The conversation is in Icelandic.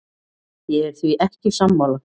Ég er því ekki sammála.